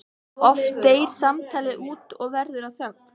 Oft deyr samtalið út og verður að þögn.